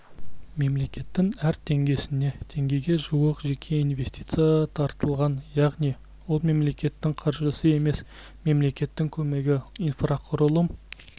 мемлекеттің әр теңгесіне теңгеге жуық жеке инвестиция тартылған яғни ол мемлекеттің қаржысы емес мемлекеттің көмегі инфрақұрылым